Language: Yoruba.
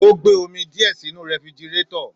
Ò gbe òmí diẹ sìnú rẹfìgírẹtọ.